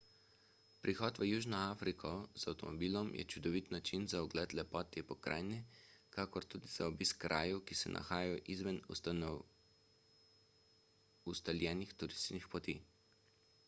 prihod v južno afriko z avtomobilom je čudovit način za ogled lepot te pokrajine kakor tudi za obisk krajev ki se nahajajo izven ustaljenih turističnih poti